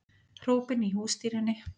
Hrópin í hússtýrunni